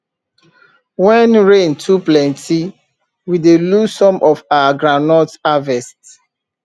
when rain too plenty we dey lose some of our groundnut harvest